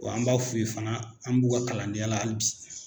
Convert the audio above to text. Wa an b'a f'u ye fana an b'u ka kalandenya hali bi